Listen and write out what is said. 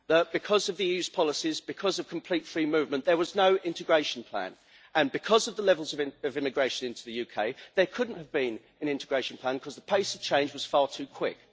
Because of EU policies and because of complete free movement, there was no integration plan and, because of the levels of immigration into the UK, there could not have been an integration plan because the pace of change was far too quick.